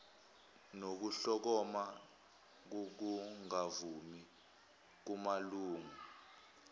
nokuhlokoma kokungavumi kumalungu